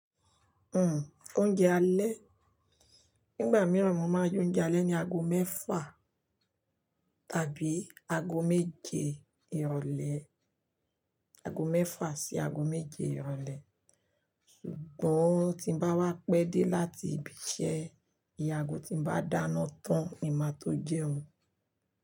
Hmm oúnjẹ alẹ́. Nígbà mìíràn mo máa jóúnjẹ alẹ́ ní ago mẹ́fà tàbí ago méje ìrọ̀lẹ́, ago mẹ́fà sí ago méje ìrọ̀lẹ́. Ṣùgbọ́n tí ń bá wá pẹ́ dé láti ibi iṣẹ́, iye ago tí ń bá dáná tán ni máa tó jẹun.